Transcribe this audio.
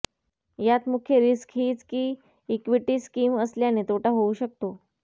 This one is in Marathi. यात मुख्य रिस्क हीच की इक्विटी स्कीम असल्याने तोटा होऊ शकतो